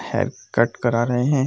haircut करा रहे हैं |